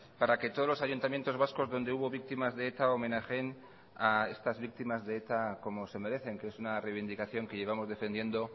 para que todos los ayuntamientos vascos donde hubo víctimas de eta homenajeen a estas víctimas de eta como se merecen que es una reivindicación que llevamos defendiendo